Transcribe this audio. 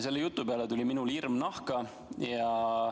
Selle jutu peale tuli minul hirm nahka.